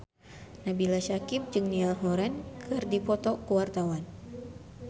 Nabila Syakieb jeung Niall Horran keur dipoto ku wartawan